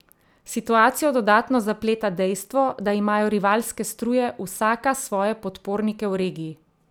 Situacijo dodatno zapleta dejstvo, da imajo rivalske struje vsaka svoje podpornike v regiji.